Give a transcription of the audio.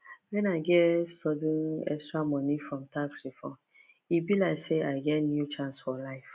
when i get sudden extra money from tax refund e be like say i get new chance for life